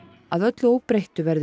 að öllu óbreyttu verður